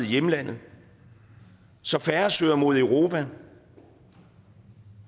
hjemlande så færre søger mod europa